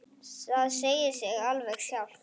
Það segir sig alveg sjálft.